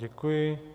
Děkuji.